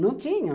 Não tinham.